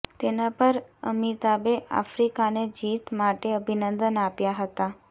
તેના પર અમિતાભે આફ્રિકાને જીત માટે અભિનંદન આપ્યા હતા